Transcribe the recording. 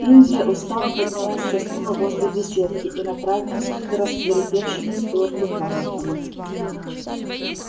индия устало поднялась со стула возле беседки и направилась к рассвирепевшему стюарту тарлтону